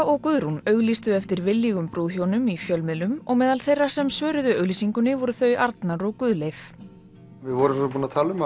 og Guðrún auglýstu eftir viljugum brúðhjónum í fjölmiðlum og meðal þeirra sem svöruðu voru þau Arnar og Guðleif já við vorum búin að tala um